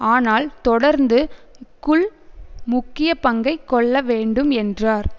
ஆனால் தொடர்ந்து க்குள் முக்கிய பங்கை கொள்ள வேண்டும் என்றார்